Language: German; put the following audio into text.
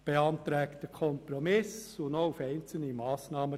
Sie beantragt einen Kompromiss und den Verzicht auf einzelne Massnahmen.